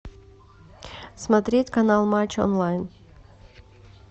смотреть канал матч онлайн